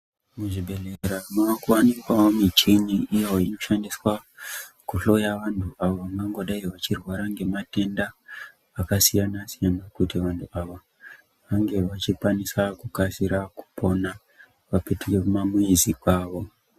Muzvibhedhlera mwaa kuwanikwawo mishini iyoo inoshandiswa kuhloya vantu, avo vangangodayi vachirwara ngematenda akasiyana siyana kuti vantu ava vange vachikwanisa kukasira kupona vapetuke kumamizi kwavo.